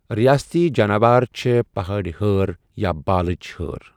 رِیٲستی جاناوار چھےٚ پٕہٲڑۍ ہٲر، یا بالٕچ ہٲر۔